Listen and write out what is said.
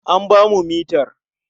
An ba mu mitar.